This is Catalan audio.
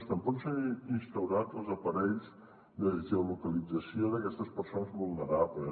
tampoc no s’han instaurat els aparells de geolocalització d’aquestes persones vulnerables